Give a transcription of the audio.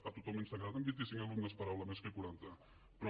a tothom ens agraden vint i cinc alumnes per aula més que quaranta però